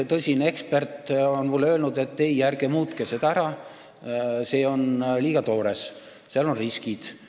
Tõsine ekspert on mulle öelnud, et ei, ärge muutke seda ära, see ettepanek on liiga toores, seal on riskid.